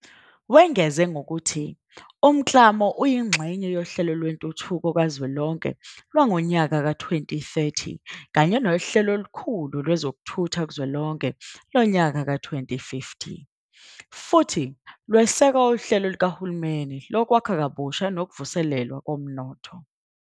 Wengeze ngokuthi umklamo uyingxenye yoHlelo Lwentuthuko Kazwelonke lwangowezi-2030 kanye noHlelo Olukhulu Lwe zokuthutha Kuzwelonke lwangowezi-2050 futhi lweseka uHlelo Lukahulumeni Lokwakha Kabusha Nokuvuselelwa Komnotho.